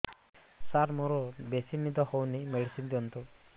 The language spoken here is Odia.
ସାର ମୋରୋ ବେସି ନିଦ ହଉଚି ମେଡିସିନ ଦିଅନ୍ତୁ